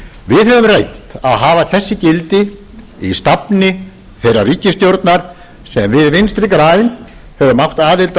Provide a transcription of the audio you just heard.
við höfum reynt að hafa þessi gildi í stafni þeirrar ríkisstjórnar sem við vinstri græn höfum átt aðild að í